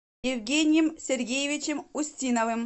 евгением сергеевичем устиновым